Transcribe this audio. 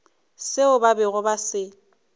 seo ba bego ba se